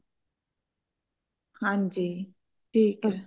ਹਾਂਜੀ ਠੀਕ ਆ